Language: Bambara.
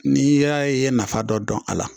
N'i y'a ye i ye nafa dɔ dɔn a la